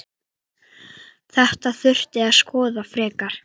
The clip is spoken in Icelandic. Þetta þurfi að skoða frekar.